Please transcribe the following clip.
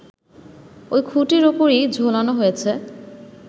ওই খুঁটির ওপরই ঝোলানো হয়েছে